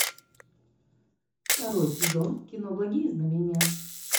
второй сезон кино благие знамения